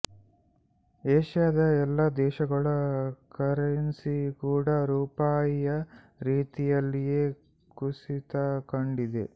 ಏಷ್ಯಾದ ಎಲ್ಲ ದೇಶಗಳ ಕರೆನ್ಸಿ ಕೂಡ ರೂಪಾಯಿಯ ರೀತಿಯಲ್ಲಿಯೇ ಕುಸಿತ ಕಂಡಿದೆ